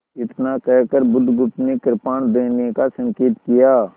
इतना कहकर बुधगुप्त ने कृपाण देने का संकेत किया